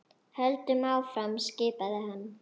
Höldum áfram skipaði hann.